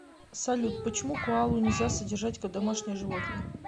салют почему коалу нельзя содержать как домашнее животное